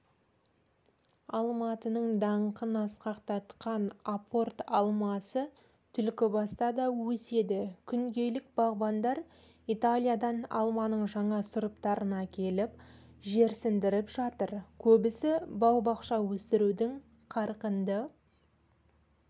алматының даңқын асқақтатқан апорт алмасы түлкібаста да өседі күнгейлік бағбандар италиядан алманың жаңа сұрыптарын әкеліп жерсіндіріп жатыр көбісі бау-бақша өсірудің қарқынды